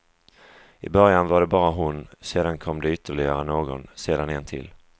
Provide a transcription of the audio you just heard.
Från början var det bara hon, sedan kom det ytterligare någon, sedan en till.